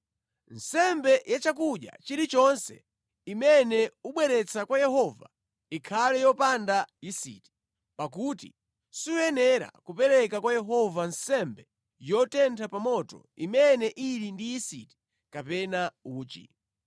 “ ‘Nsembe ya chakudya chilichonse imene ubweretsa kwa Yehova ikhale yopanda yisiti, pakuti suyenera kupereka kwa Yehova nsembe yotentha pa moto imene ili ndi yisiti kapena uchi.